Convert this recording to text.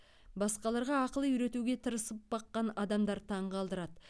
басқаларға ақыл үйретуге тырысып баққан адамдар таң қалдырады